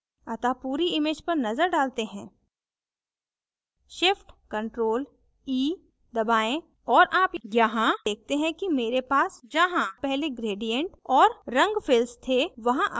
अतः पूरी image पर नजर डालते हैं shift + ctrl + e दबाएँ और आप यहाँ देखते हैं कि मेरे पास जहाँ पहले gradient और रंग fills थे वहां अब lines हैं